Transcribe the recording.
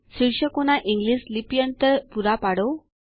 શીર્ષકોના English લિપ્યંતર પૂરા પાડો